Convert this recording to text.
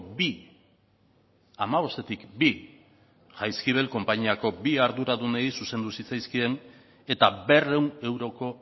bi hamabostetik bi jaizkibel konpainiako bi arduradunei zuzendu zitzaizkien eta berrehun euroko